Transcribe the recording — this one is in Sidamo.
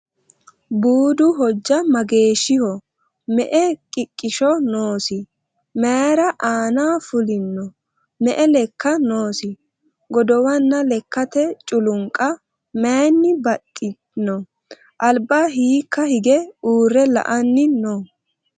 Buudu hojja mageeshshiho? Me'e qiqishsho noosi? Mayiira aanna fullinno? Me'e lekka noosi? Godowanna lekkatte culinnaqa mayiinni baxxinno? Alibba hiikka hige uure la'anni noo?